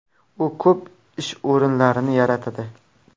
U ko‘p ish o‘rinlarini yaratadi.